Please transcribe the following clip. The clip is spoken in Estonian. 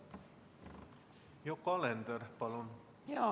Yoko Alender, palun!